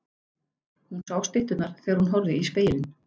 Hún sá stytturnar þegar hún horfði í spegilinn.